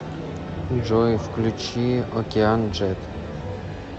джой включи океан джет